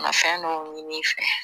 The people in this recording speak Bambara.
Fɛn dɔw ɲin'i fɛ